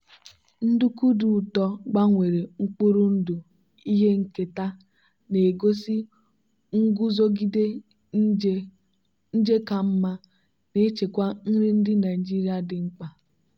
nduku dị ụtọ gbanwere mkpụrụ ndụ ihe nketa na-egosi nguzogide nje ka mma na-echekwa nri ndị nigeria dị mkpa.